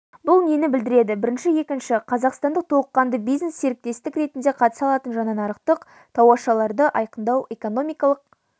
бұл нені білдіреді бірінші екінші қазақстан толыққанды бизнес-серіктестік ретінде қатыса алатын жаңа нарықтық тауашаларды айқындау экономикалық